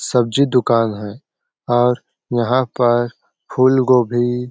सब्जी दुकान है और यहाँ पर फ़ूलगोभी --